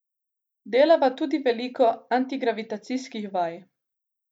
Delava tudi veliko antigravitacijskih vaj.